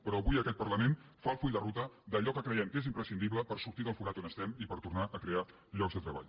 però avui aquest parlament fa el full de ruta d’allò que creiem que és imprescindible per sortir del forat on estem i per tornar a crear llocs de treball